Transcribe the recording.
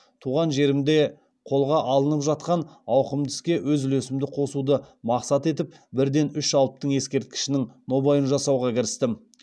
туған жерімде қолға алынып жатқан ауқымды іске өз үлесімді қосуды мақсат етіп бірден үш алыптың ескерткішінің нобайын жасауға кірістім